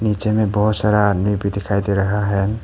नीचे में बहोत सारा आदमी भी दिखाई दे रहा है।